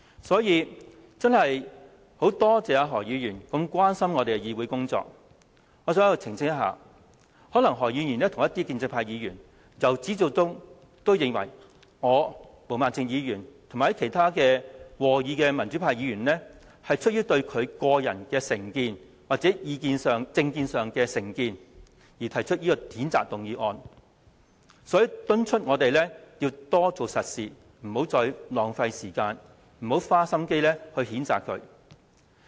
所以，我真的很感謝何議員這麼關注立法會的議會工作，我想在此澄清，可能何議員和部分建制派議員由始至終也認為我、毛孟靜議員和其他和議的民主派議員是出於對何議員的個人有成見，或有政見上的成見而提出譴責議案，所以敦促我們多做實事，不要再浪費時間，不要花心機譴責他。